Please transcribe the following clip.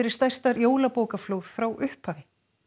stærsta jólabókaflóð frá upphafi